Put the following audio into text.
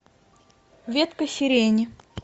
ветка сирени